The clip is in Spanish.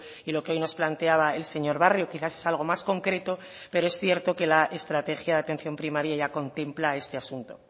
y lo que hoy nos planteaba el señor barrio quizás es algo más concreto pero es cierto que la estrategia de atención primaria ya contempla este asunto